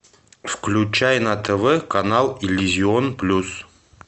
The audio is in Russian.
включай на тв канал иллюзион плюс